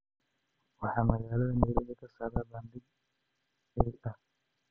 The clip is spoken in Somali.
waxaa magaalada nairobi ka socda bandhig ey ah